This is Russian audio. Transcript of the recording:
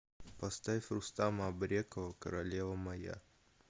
поставь рустама абрекова королева моя